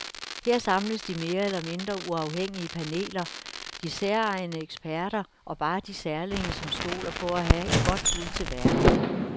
Her samles de mere eller mindre uafhængige paneler, de særegne eksperter og bare de særlinge, som stoler på at have et godt bud til verden.